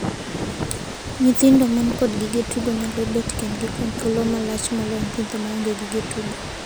Nyithindo man kod gige tugo nyalo bet kendgi kuom thuolo malach moloyo nyithindo ma onge gi gige tugo.